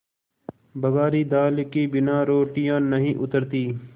बघारी दाल के बिना रोटियाँ नहीं उतरतीं